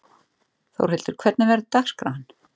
Þórhildur, hvernig verður dagskráin?